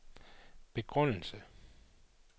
begrundelse